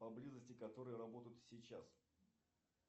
поблизости которые работают сейчас